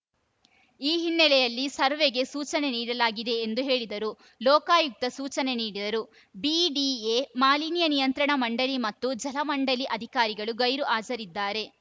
ಈ ಹಿನ್ನೆಲೆಯಲ್ಲಿ ಸರ್ವೆಗೆ ಸೂಚನೆ ನೀಡಲಾಗಿದೆ ಎಂದು ಹೇಳಿದರು ಲೋಕಾಯುಕ್ತ ಸೂಚನೆ ನೀಡಿದ್ದರೂ ಬಿಡಿಎ ಮಾಲಿನ್ಯ ನಿಯಂತ್ರಣ ಮಂಡಳಿ ಮತ್ತು ಜಲಮಂಡಳಿ ಅಧಿಕಾರಿಗಳು ಗೈರು ಹಾಜರಿದ್ದಾರೆ